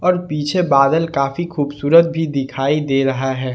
और पीछे बादल काफी खूबसूरत भी दिखाई दे रहा है।